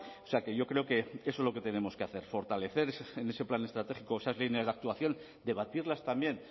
o sea que yo creo que eso es lo que tenemos que hacer fortalecer en ese plan estratégico esas líneas de actuación debatirlas también